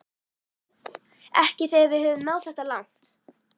Ekki þegar við höfum náð þetta langt